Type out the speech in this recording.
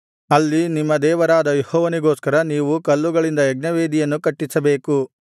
ಅಲ್ಲಿ ನಿಮ್ಮ ದೇವರಾದ ಯೆಹೋವನಿಗೋಸ್ಕರ ನೀವು ಕಲ್ಲುಗಳಿಂದ ಯಜ್ಞವೇದಿಯನ್ನು ಕಟ್ಟಿಸಬೇಕು